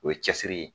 O ye cɛsiri ye